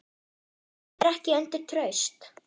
Það ýtir ekki undir traust.